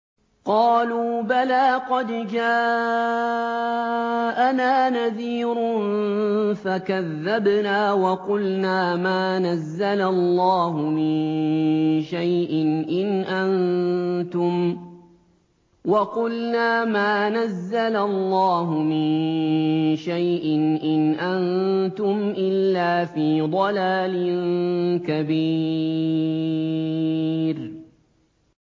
قَالُوا بَلَىٰ قَدْ جَاءَنَا نَذِيرٌ فَكَذَّبْنَا وَقُلْنَا مَا نَزَّلَ اللَّهُ مِن شَيْءٍ إِنْ أَنتُمْ إِلَّا فِي ضَلَالٍ كَبِيرٍ